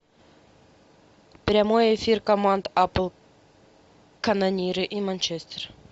прямой эфир команд апл канониры и манчестер